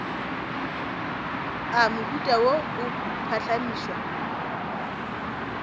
a mohuta wo a phuhlamišwa